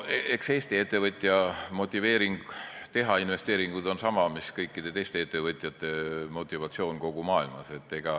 Eks Eesti ettevõtja motivatsioon teha investeeringuid on sama mis kõikide teiste ettevõtjate motivatsioon kogu maailmas.